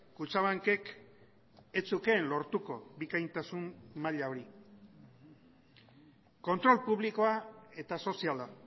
kutxabankek ez zukeen lortuko bikaintasun maila hori kontrol publikoa eta soziala